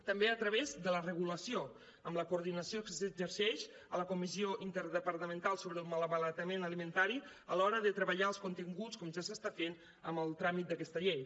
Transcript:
també a través de la regulació amb la coordinació que s’exerceix a la comissió interdepartamental sobre el malbaratament alimentari a l’hora de treballar els continguts com ja s’està fent amb el tràmit d’aquesta llei